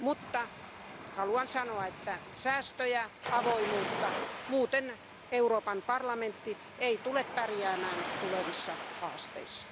Mutta haluan sanoa, että säästöjä ja avoimuutta muuten Euroopan parlamentti ei tule pärjäämään tulevissa haasteissa.